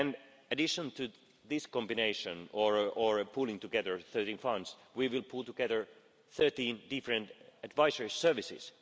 In addition to this combination or pooling together of 13 funds, we will pool together 13 different advisory services.